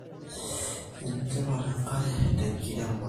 Ene tipat enkare te nkiremero